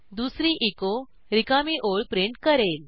दुसरी एचो रिकामी ओळ प्रिंट करेल